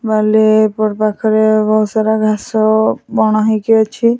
ବାଲିପୁର ପାଖରେ ବହୁତ ସାରା ଘାସ ବଣ ହେଇକି ଅଛି।